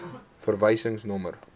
verwysingsnommer